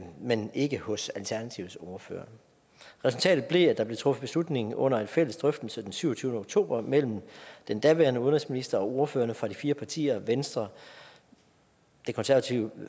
men ikke hos alternativets ordfører resultatet blev at der blev truffet beslutning under en fælles drøftelse den syvogtyvende oktober mellem den daværende udenrigsminister og ordførerne for de fire partier venstre det konservative